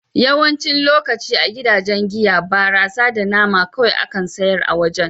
Yawancin lokatai a gidajen giya, barasa da nama kawai akan sayar a wajen.